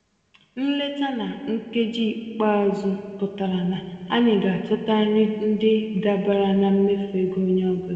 Nleta na nkeji ikpeazụ pụtara na anyị ga-achọta nri ndị dabara na mmefu ego onye ọ bụla.